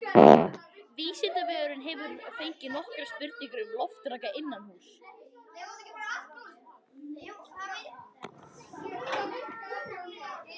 Vísindavefurinn hefur fengið nokkrar spurningar um loftraka innanhúss.